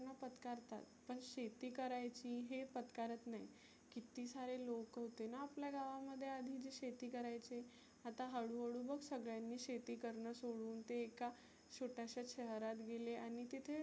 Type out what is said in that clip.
पत्कारतात. पण शेती करायची हे पत्कारत नाही. किती सारे लोकंं होतेना आपल्या गावामध्ये आधी जे शेती करायचे. आता हळु हळु बघ सगळ्यांनी शेती करण सोडुन ते एका छोट्याश्या शहरात गेले आणि तिथे